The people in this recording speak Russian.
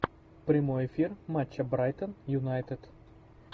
прямой эфир матча брайтон юнайтед